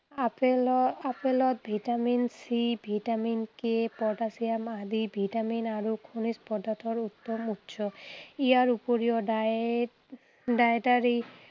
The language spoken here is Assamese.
আপেলৰ আপেলত vitamin C, vitamin K potassium আদি ভিটামিন আৰু খনিজ পদাৰ্থৰ উত্তম উৎস। ইয়াৰ উপিৰও diet dietary